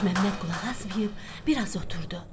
Məlikməmməd qulaq asmayıb bir az oturdu.